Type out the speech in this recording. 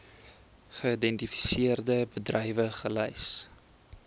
geïdentifiseerde bedrywe gelys